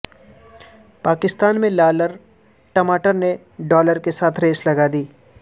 پاکستان میں لالر ٹماٹر نے ڈالر کے ساتھ ریس لگا دی